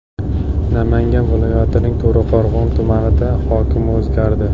Namangan viloyatining To‘raqo‘rg‘on tumanida hokim o‘zgardi.